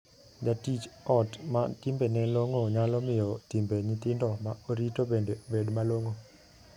Jatij ot ma timbene long'o nyalo miyo timbe nyithindo ma orito bende bed malong'o.